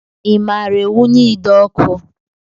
I maara ewunye ide ọkụ?